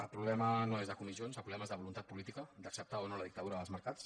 el problema no és de comissions el problema és de voluntat política d’acceptar o no la dictadura dels mercats